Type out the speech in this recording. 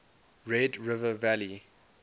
red river valley